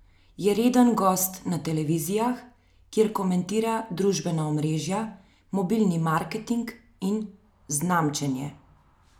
Je reden gost na televizijah, kjer komentira družbena omrežja, mobilni marketing in znamčenje.